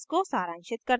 इसको सारांशित करते हैं